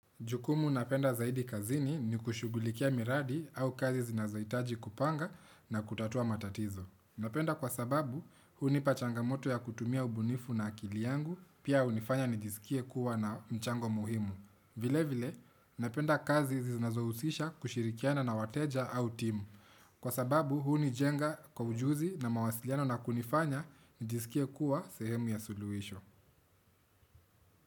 Jukumu napenda zaidi kazini ni kushughulikia miradi au kazi zinazohitaji kupanga na kutatua matatizo. Napenda kwa sababu, hunipa changamoto ya kutumia ubunifu na akili yangu, pia hunifanya nijisikie kuwa na mchango muhimu. Vile vile, napenda kazi zinazohusisha kushirikiana na wateja au timu. Kwa sababu, hunijenga kwa ujuzi na mawasiliano na kunifanya nijisikie kuwa sehemu ya suluhisho.